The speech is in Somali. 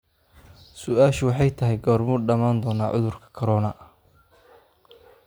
su'aashu waxay tahay goormuu dhamaan doonaa cudurkan corona?